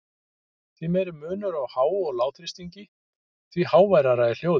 Því meiri munur á há- og lágþrýstingi, því háværara er hljóðið.